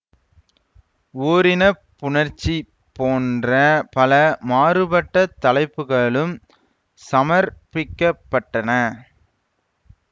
ஓரினப் புணர்ச்சி போன்ற பல மாறுபட்ட தலைப்புகளும் சமர்ப்பிக்கப்பட்டன